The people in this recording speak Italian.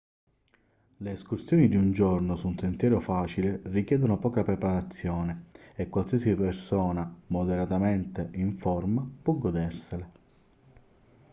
le escursioni di un giorno su un sentiero facile richiedono poca preparazione e qualsiasi persona moderatamente in forma può godersele